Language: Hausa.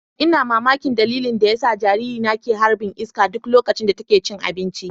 Ina mamakin dalilin da yasa jaririna ke harɓin iska duk loƙacin da taƙe cin aɓinci.